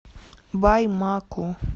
баймаку